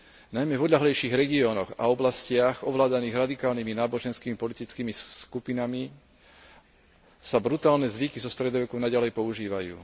Najmä v odľahlejších regiónoch a oblastiach ovládaných radikálnymi náboženskými politickými skupinami sa brutálne zvyky zo stredoveku naďalej používajú.